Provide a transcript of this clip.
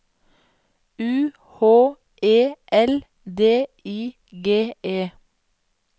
U H E L D I G E